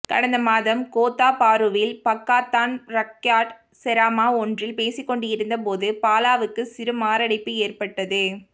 கடந்த மாதம் கோத்தா பாருவில் பக்காத்தான் ரக்யாட் செராமா ஒன்றில் பேசிக்கொண்டிருந்தபோது பாலாவுக்குச் சிறு மாரடைப்பு ஏற்பட்டது